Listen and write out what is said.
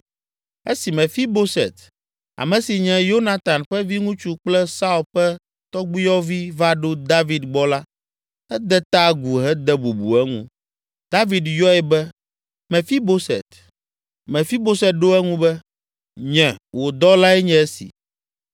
Esi Mefiboset, ame si nye Yonatan ƒe viŋutsu kple Saul ƒe tɔgbuiyɔvi va ɖo David gbɔ la, ede ta agu hede bubu eŋu. David yɔe be, “Mefiboset!” Mefiboset ɖo eŋu be, “Nye, wò dɔlae nye esi.”